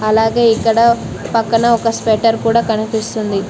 అలాగే ఇక్కడ పక్కన ఒక స్వెటర్ కూడా కనిపిస్తుంది.